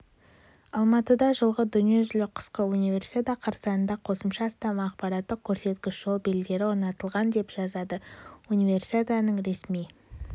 алматыда жылғы дүниежүзілік қысқы универсиада қарсаңында қосымша астам ақпараттық-көрсеткіш жол белгілері орнатылған деп жазады универсиаданың ресми